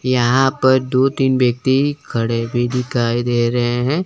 यहां पर दो तीन व्यक्ति खड़े भी दिखाई दे रहे हैं।